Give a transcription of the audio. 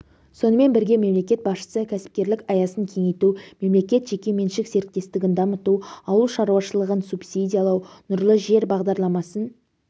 сонымен бірге мемлекет басшысы кәсіпкерлік аясын кеңейту мемлекет-жекеменшік серіктестігін дамыту ауыл шаруашылығын субсидиялау нұрлы жер бағдарламасын